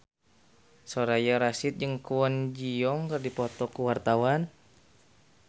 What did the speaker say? Soraya Rasyid jeung Kwon Ji Yong keur dipoto ku wartawan